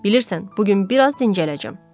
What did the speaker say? Bilirsən, bu gün bir az dincələcəm.